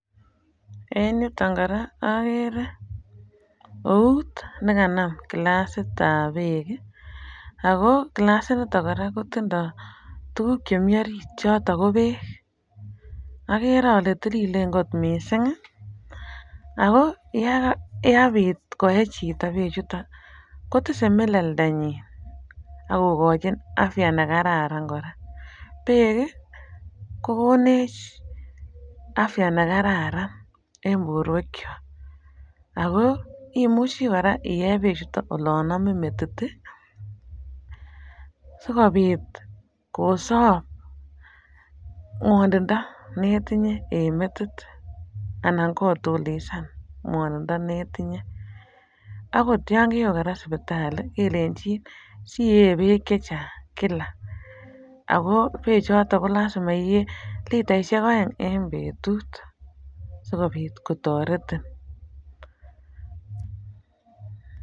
En yuton kora agere eut nekanam kilastab beek oo kilasinito kora tindo tuguk chemi orit choto ko beek. Agere ale tililen kot mising ago yepit koe chito beechuto kotise melelndanyin ak kogochi afya ne kararan kora. Beek kokonech afya ne kararan en borwekyok ago imuche kora iye bechuto olon amin metit sigopit kosob kwonindo ne tinye en metit anan kotulisan ngwanindo netinye. Agot yon kewe kora sipitali kelenjin sie beek che chang kila ago beechoto kolasima iyee litaisiek aeng en betut sigopit kotaretin.